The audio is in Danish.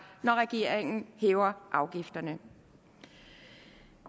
når regeringen hæver afgifterne